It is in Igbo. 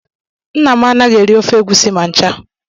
Ńnà mụ anaghị eri ofe egwusi ma ncha.